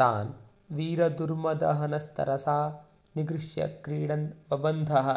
तान् वीरदुर्मदहनस्तरसा निगृह्य क्रीडन् बबन्ध ह